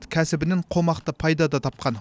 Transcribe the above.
кәсібінен қомақты пайда да тапқан